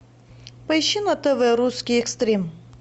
поищи на тв русский экстрим